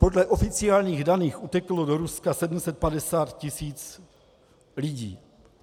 Podle oficiálních zpráv uteklo do Ruska 750 tisíc lidí.